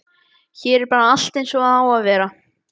Hér er bara allt eins og það á að vera.